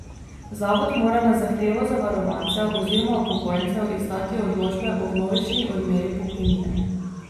Zavod mora na zahtevo zavarovancev oziroma upokojencev izdati odločbe o vnovični odmeri pokojnine.